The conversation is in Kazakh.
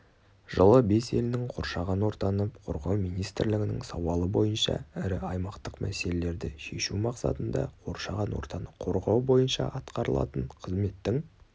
жылы бес елінің қоршаған ортаны қорғау министрлігінің сауалы бойынша ірі аймақтық мәселелерді шешу мақсатында қоршаған ортаны қорғау бойынша атқарылатын қызметтің